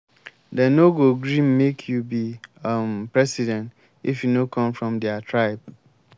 dem no go gree make you be um president if you no come from their tribe.